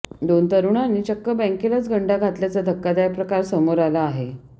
दोन तरुणांनी चक्क बँकेलाच गंडा घातल्याचा धक्कादायक प्रकार समोर आला आहे